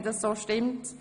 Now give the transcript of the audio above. Art. 11 Abs. 3 Sie